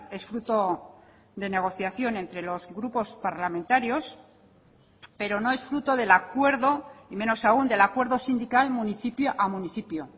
es fruto de negociación entre los grupos parlamentarios pero no es fruto del acuerdo y menos aún del acuerdo sindical municipio a municipio